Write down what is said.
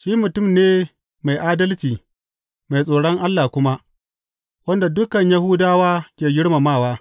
Shi mutum ne mai adalci mai tsoron Allah kuma, wanda dukan Yahudawa ke girmamawa.